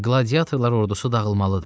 Qladiatorlar ordusu dağılmalıdır.